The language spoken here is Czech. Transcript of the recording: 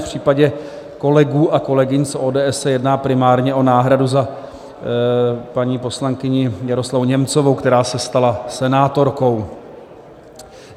V případě kolegů a kolegyň z ODS se jedná primárně o náhradu za paní poslankyni Miroslavu Němcovou, která se stala senátorkou.